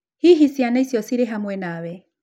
Hihi ciana icio cirĩ hamwe nawe?